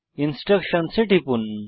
ইনস্ট্রাকশনসহ A টিপুন